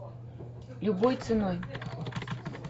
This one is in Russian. любой ценой